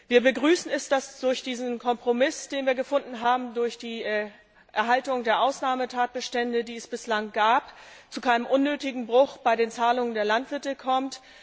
Wir begrüßen es, dass es durch diesen Kompromiss, den wir gefunden haben, durch die Erhaltung der Ausnahmetatbestände, die es bislang gab, zu keinem unnötigen Bruch bei den Zahlungen an die Landwirte kommt.